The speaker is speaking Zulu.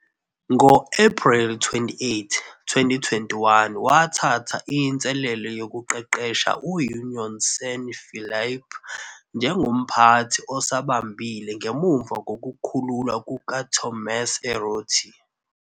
Ngo-Ephreli 28, 2021,wathatha inselelo yokuqeqesha u-Unión San Felipe njengomphathi osabambile ngemuva kokukhululwa kukaTomás Arrotea.